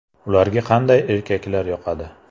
Ularga qanday erkaklar yoqadi.